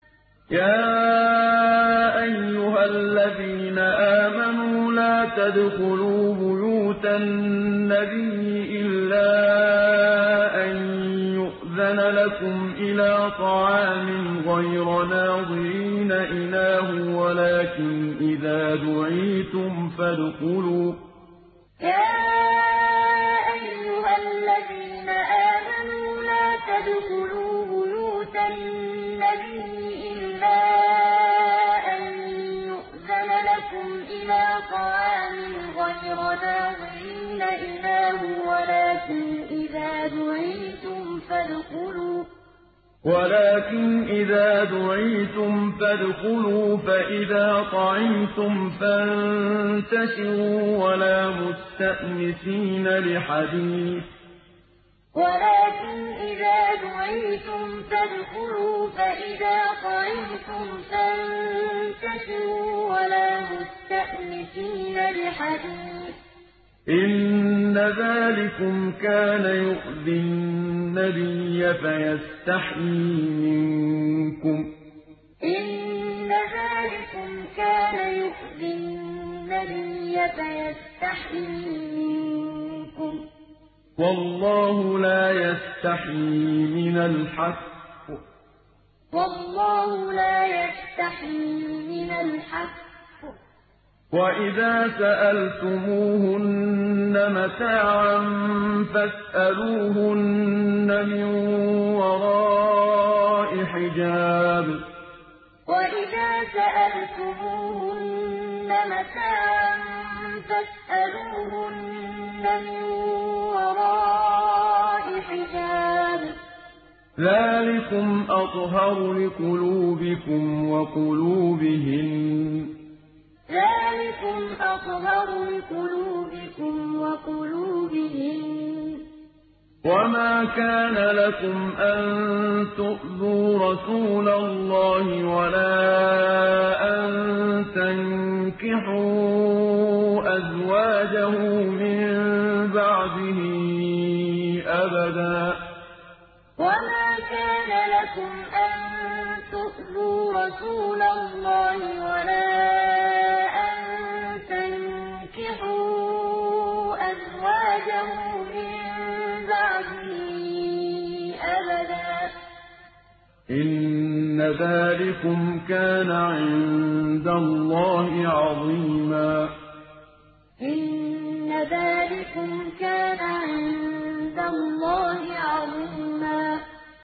يَا أَيُّهَا الَّذِينَ آمَنُوا لَا تَدْخُلُوا بُيُوتَ النَّبِيِّ إِلَّا أَن يُؤْذَنَ لَكُمْ إِلَىٰ طَعَامٍ غَيْرَ نَاظِرِينَ إِنَاهُ وَلَٰكِنْ إِذَا دُعِيتُمْ فَادْخُلُوا فَإِذَا طَعِمْتُمْ فَانتَشِرُوا وَلَا مُسْتَأْنِسِينَ لِحَدِيثٍ ۚ إِنَّ ذَٰلِكُمْ كَانَ يُؤْذِي النَّبِيَّ فَيَسْتَحْيِي مِنكُمْ ۖ وَاللَّهُ لَا يَسْتَحْيِي مِنَ الْحَقِّ ۚ وَإِذَا سَأَلْتُمُوهُنَّ مَتَاعًا فَاسْأَلُوهُنَّ مِن وَرَاءِ حِجَابٍ ۚ ذَٰلِكُمْ أَطْهَرُ لِقُلُوبِكُمْ وَقُلُوبِهِنَّ ۚ وَمَا كَانَ لَكُمْ أَن تُؤْذُوا رَسُولَ اللَّهِ وَلَا أَن تَنكِحُوا أَزْوَاجَهُ مِن بَعْدِهِ أَبَدًا ۚ إِنَّ ذَٰلِكُمْ كَانَ عِندَ اللَّهِ عَظِيمًا يَا أَيُّهَا الَّذِينَ آمَنُوا لَا تَدْخُلُوا بُيُوتَ النَّبِيِّ إِلَّا أَن يُؤْذَنَ لَكُمْ إِلَىٰ طَعَامٍ غَيْرَ نَاظِرِينَ إِنَاهُ وَلَٰكِنْ إِذَا دُعِيتُمْ فَادْخُلُوا فَإِذَا طَعِمْتُمْ فَانتَشِرُوا وَلَا مُسْتَأْنِسِينَ لِحَدِيثٍ ۚ إِنَّ ذَٰلِكُمْ كَانَ يُؤْذِي النَّبِيَّ فَيَسْتَحْيِي مِنكُمْ ۖ وَاللَّهُ لَا يَسْتَحْيِي مِنَ الْحَقِّ ۚ وَإِذَا سَأَلْتُمُوهُنَّ مَتَاعًا فَاسْأَلُوهُنَّ مِن وَرَاءِ حِجَابٍ ۚ ذَٰلِكُمْ أَطْهَرُ لِقُلُوبِكُمْ وَقُلُوبِهِنَّ ۚ وَمَا كَانَ لَكُمْ أَن تُؤْذُوا رَسُولَ اللَّهِ وَلَا أَن تَنكِحُوا أَزْوَاجَهُ مِن بَعْدِهِ أَبَدًا ۚ إِنَّ ذَٰلِكُمْ كَانَ عِندَ اللَّهِ عَظِيمًا